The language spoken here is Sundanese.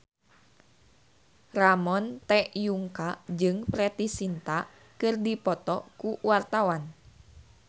Ramon T. Yungka jeung Preity Zinta keur dipoto ku wartawan